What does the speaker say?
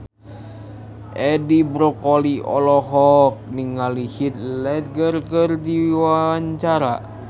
Edi Brokoli olohok ningali Heath Ledger keur diwawancara